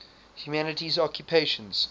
humanities occupations